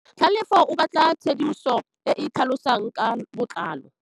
Tlhalefô o batla tshedimosetsô e e tlhalosang ka botlalô.